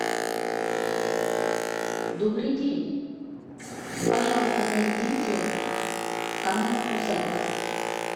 добрый день пожалуйста найдите канал усадьба